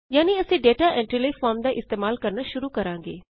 ਯਾਨੀ ਅਸੀਂ data entry ਲਈ ਫੋਰਮ ਦਾ ਇਸਤੇਮਾਲ ਕਰਨਾ ਸ਼ੁਰੂ ਕਰਾਂਗੇ